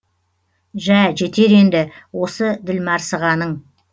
жә жетер енді осы ділмарсығаның